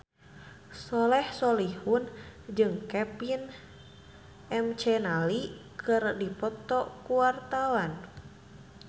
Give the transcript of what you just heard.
Soleh Solihun jeung Kevin McNally keur dipoto ku wartawan